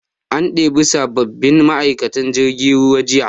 An ɗebi sabbabbin ma'aikatan jirgin ruwa jiya